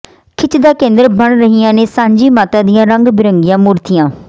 ਖਿੱਚ ਦਾ ਕੇਂਦਰ ਬਣ ਰਹੀਆਂ ਨੇ ਸਾਂਝੀ ਮਾਤਾ ਦੀਆਂ ਰੰਗ ਬਿਰੰਗੀਆਂ ਮੂਰਤੀਆਂ